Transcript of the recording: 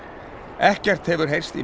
ekkert hefur heyrst í